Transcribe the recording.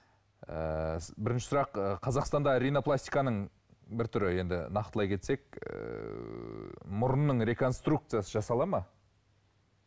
ыыы бірінші сұрақ қазақстанда ринопластиканың бір түрі енді нақтылай кетсек ыыы мұрынның реконструкциясы жасалады ма